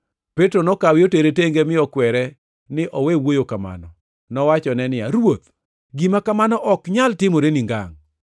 Petro nokawe otere tenge mi okwere ni owe wuoyo kamano. Nowachone niya, “Ruoth, gima kamano ok nyal timoreni ngangʼ!”